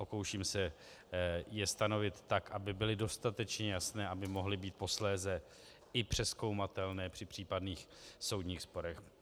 Pokouším se je stanovit tak, aby byly dostatečně jasné, aby mohly být posléze i přezkoumatelné při případných soudních sporech.